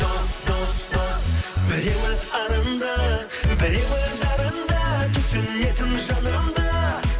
дос дос дос біреуі арынды біреуі дарынды түсінетін жаныңды